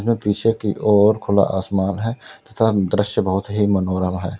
यह पीछे की ओर खुला आसमान है तथा दृश्य बहुत ही मनोरम है।